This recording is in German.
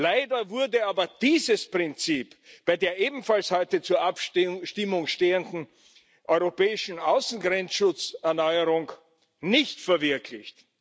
Leider wurde aber dieses Prinzip bei der ebenfalls heute zur Abstimmung stehenden europäischen Außengrenzschutzerneuerung nicht verwirklicht.